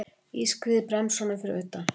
Ískrið í bremsunum fyrir utan.